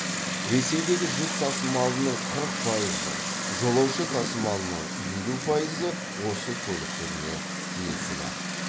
ресейдегі жүк тасымалының қырық пайызы жолаушы тасымалының елу пайызы осы көлік түріне тиесілі